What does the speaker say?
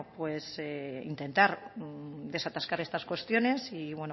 intentar desatascar estas cuestiones y